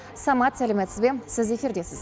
самат сәлеметсіз бе сіз эфирдесіз